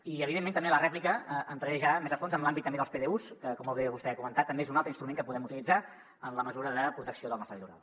i evidentment també a la rèplica entraré ja més a fons en l’àmbit també dels pdus que com molt bé vostè ha comentat també és un altre instrument que podem utilitzar en la mesura de protecció del nostre litoral